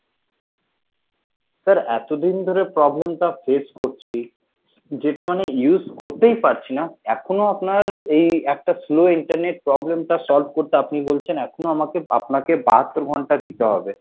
sir এতদিন ধরে problem টা face করছি যেটা মানে use করতেই পারছি না এখনো আপনার এই একটা slow internet problem টা solve করতে আপনি বলছেন এখনো আমাকে আপনাকে বাহাত্তর ঘন্টা দিতে হবে